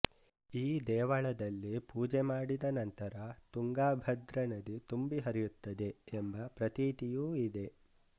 ಈ ದೇವಳದಲ್ಲಿ ಪೂಜೆ ಮಾಡಿದ ನಂತರ ತುಂಗಾಭದ್ರಾ ನದಿ ತುಂಬಿ ಹರಿಯುತ್ತದೆ ಎಂಬ ಪ್ರತೀತಿಯೂ ಇದೆ